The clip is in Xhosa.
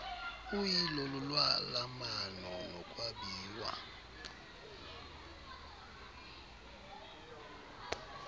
uyilo lolwalamano nokwabiwa